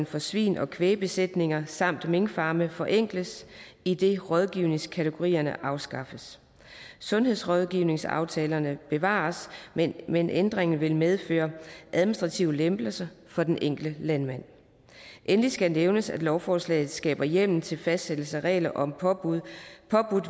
for svine og kvægbesætninger samt minkfarme forenkles idet rådgivningskategorierne afskaffes sundhedsrådgivningsaftalerne bevares men men ændringen vil medføre administrative lempelser for den enkelte landmand endelig skal nævnes at lovforslaget skaber hjemmel til fastsættelse af regler om påbudt